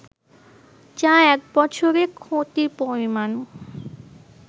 যা এক বছরে ক্ষতির পরিমাণ